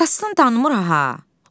Atasını tanımır ha.